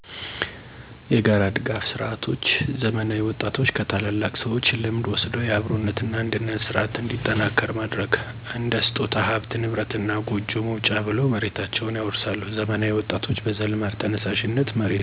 የጋራ ድጋፍ ስርዓቶች ዘመናዊ ወጣቶች ከታላላቅ ሰዎች ልምድ ወስደው የአብሮነት እና አንድነት ስርዓት እንዲጠናከር ማድረግ። እንደ ስጦታ፣ ሀብት ንብረት እና ጎጆ መውጫ ብለው መሬታቸውን ያወርሳሉ ዘመናዊ ወጣቶችም በዘልማድ ተነሳሽነት መሬትን ይወርሳሉ።